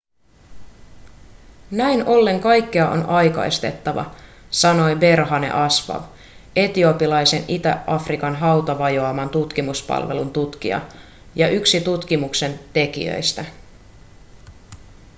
näin ollen kaikkea on aikaistettava sanoi berhane asfaw etiopialaisen itä-afrikan hautavajoaman tutkimuspalvelun tutkija ja yksi tutkimuksen tekijöistä